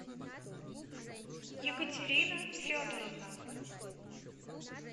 екатерина федоровна